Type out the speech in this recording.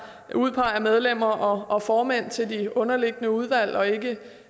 udpeger medlemmer og formænd til de underliggende udvalg og ikke